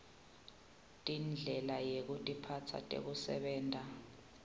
tindlela yekutiphatsa tekusebenta